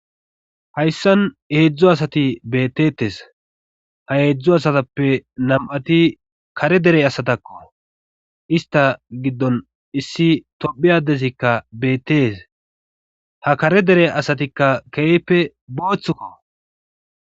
hayssan hedzdzu asati beettettes ha eedzdzu asatappe nam7ati kare dere asatakko ista giddon issi tophi adesikka beettees ha kare dere asatikka keeyppe booththukko